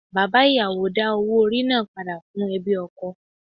Bàbá ìyàwó dá owó orí náà padà fún ẹbí ọkọ.